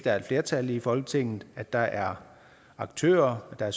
er flertal i folketinget at der er aktører og